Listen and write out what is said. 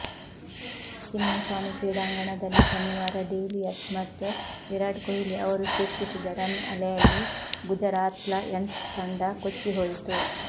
ಚಿನ್ನಸ್ವಾಮಿ ಕ್ರೀಡಾಂಗಣ ದಲ್ಲಿ ಶನಿವಾರ ಡಿವಿಲಿಯರ್ಸ್ಮತ್ತು ವಿರಾಟ್ಕೊಹ್ಲಿ ಅವರು ಸೃಷ್ಟಿಸಿದ ರನ್ಅಲೆಯಲ್ಲಿ ಗುಜರಾತ್ಲಯನ್ಸ್ತಂಡ ಕೊಚ್ಚಿ ಹೋಯಿತು